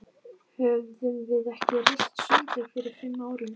Höfðum við ekki reist sundlaug fyrir fimm árum?